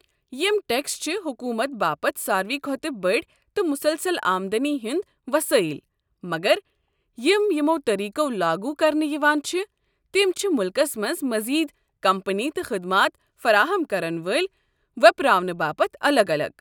یم ٹٮ۪کس چھِ حکومتٕ باپت سارِوٕے کھۄتہٕ بٔڑۍ تہٕ مُسلسل آمدٔنی ہٕنٛدۍ وسٲیل، مگر یم یمو طٔریٖقو لاگوٗ کرنہٕ یوان چھِ تِم چھِ مُلكس منٛز مزید کمپنی تہٕ خدمات فراہم کرن وٲلۍ ویٔپراونہٕ باپت الگ الگ۔